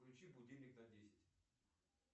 включи будильник на десять